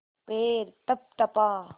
पैर तपतपा